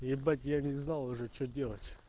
ебать я не знал уже что делать